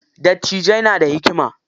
Dattijai na da hikima.